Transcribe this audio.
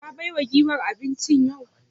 Ka baiwa giwar abinci yau?